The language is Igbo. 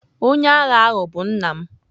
Onye agha ahụ bụ nna m.